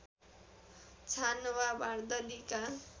छानो वा बार्दलीका